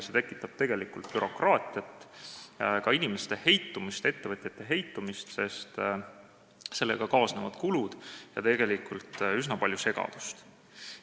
See tekitab tegelikult bürokraatiat, ka inimeste, ettevõtjate heitumist, sest sellega kaasnevad kulud ja tekib üsna palju segadust.